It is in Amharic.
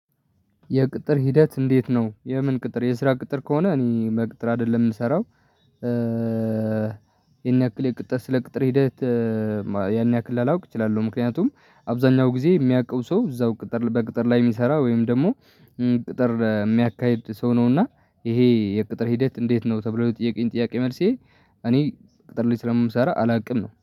የቅጥር ሂደት እንዴት ነው የምን ቅጥር የስራ ቅጥር ከሆነ እኔ በቅጥር አይደለም የምሰራው። ያን ያክል የቅጥር ስለ ቅጥር ሂደት ያን ያክል ላላውቅ እችላለሁ። ምክንያቱም አብዛኛው ጊዜ የሚያውቀው ሰው እዛው ቅጥር በቅጥር ላይ የሚሰራ ወይም ደግሞ ቅጥር የሚያካሂድ ሰው ነውና፤ ይሄ የቅጥር ሂደት እንዴት ነው ተብሎ የጠየቀኝ ጥያቄ መልሴ እኔ ቅጥር ላይ ስለምሰራ አላውቅም ነው።